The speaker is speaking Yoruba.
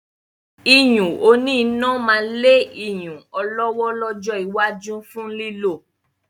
iyùn òní iná máa lé iyùn ọlọ́wọ́ lọ́jọ́ iwájú fún lílò